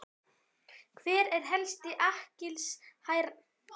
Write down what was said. Hver er helsti akkilesarhæll liðsins?